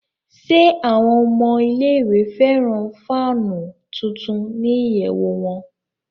Ṣe awọn ọmọ ile-iwe fẹran faanu tuntun ni iyẹwu wọn?